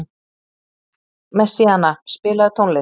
Messíana, spilaðu tónlist.